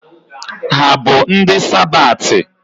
Ha bụ ndị Sabathi?